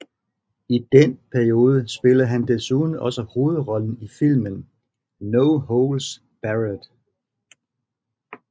I den periode spillede han desuden også hovedrollen i filmen No Holds Barred